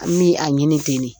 An bɛ a ɲini ten de